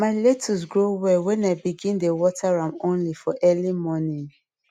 my lettuce grow well when i begin dey water am only for early morning